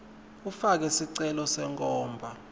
ufake sicelo senkhomba